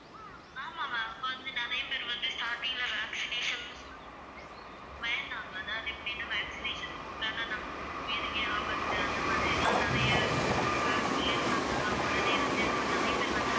ஆமா ma'am, இப்ப வந்து நிறைய பேர் வந்து starting ல vaccination ன்னு சொல்லும்போது பயந்தாங்க அதாவது எப்படின்னா vaccination போட்டோம்ன்னா நமக்கு வந்து உயிருக்கே ஆபத்து அந்த மாதிரியெல்லாம் நிறைய அஹ் சொல்லியிருந்தவங்க எல்லாம் உடனே வந்து, இப்ப நிறைய பேர் வந்து